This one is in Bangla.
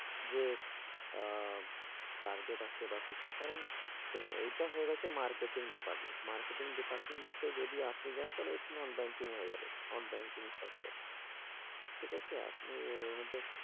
যে, আহ target আছে বা কিছু, কারণ দেখুন এইটা হয়ে গেছে marketing department, marketing department এ যদি আপনি যান, তাহলে ওইটা non-banking হয়ে যাবে, non-banking sector ঠিক আছে, আপনি ওর মধ্যে,